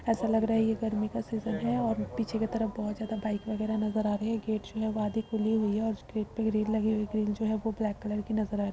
ऐसा लग रहा है यह गर्मी का सीजन है और पीछे के तरफ बहुत ज्यादा बाइक वगैरह नजर आ रही है। गेट्स भी आधी खुली हुई है और उसके पीछे एक ग्रिल लगी हुई है ग्रिल जो है ब्लैक कलर की नजर आ रही है।